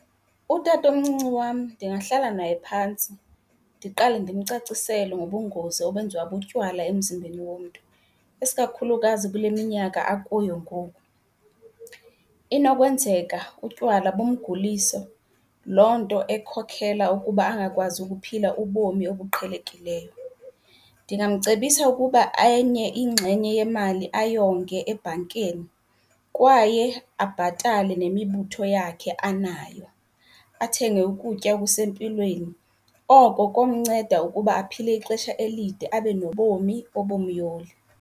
Utatomncinci wam ndingahlala naye phantsi ndiqale ndimcacisele ngobungozi obenziwa butywala emzimbeni womntu, isikakhulukazi kule minyaka akuyo ngoku. Inokwenzeka utywala bumgulise, loo nto ekhokela ukuba angakwazi ukuphila ubomi obuqhelekileyo. Ndingamcebisa ukuba enye ingxenye yemali ayonge ebhankini kwaye abhatale nemibutho yakhe anayo, athenge ukutya okusempilweni. Oko komnceda ukuba aphile ixesha elide abe nobomi obumyoli.